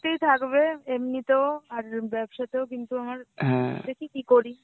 থাকবে এমনিতেও আর ব্যবসা তেও কিন্তু আমার দেখি কি করি.